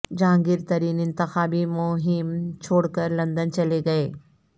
جہانگیر ترین انتخابی مہم چھوڑ کر لند ن چلے گئے